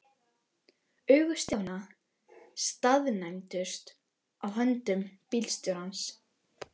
Augu Stjána staðnæmdust á höndum bílstjórans.